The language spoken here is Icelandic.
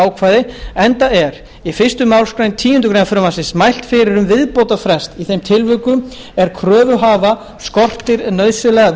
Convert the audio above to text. ákvæði enda er í fyrstu málsgreinar tíundu greinar frumvarpsins mælt fyrir um viðbótarfrest í þeim tilvikum er kröfuhafa skortir nauðsynlega